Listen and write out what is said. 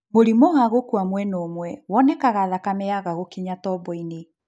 Mũrimũ wa gũkua mwena ũmwe wonekaga thakame yaga gũkinya tobo-inĩ